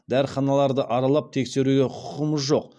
дәріханаларды аралап тексеруге құқығымыз жоқ